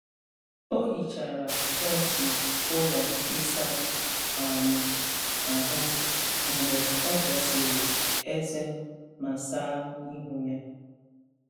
Ọ hichara kọọntị ụlọ ịsa um ahụ mgbe ọ pịasịrị ezé ma saa ihu ya.